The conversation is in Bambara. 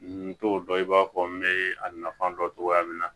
N t'o dɔn i b'a fɔ n bɛ a nafa dɔn cogoya min na